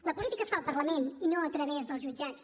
la política es fa al parlament i no a través dels jutjats